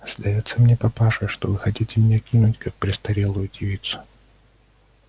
сдаётся мне папаша что вы хотите меня кинуть как престарелую девицу